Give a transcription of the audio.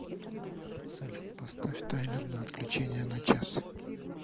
салют поставь таймер на отключение на час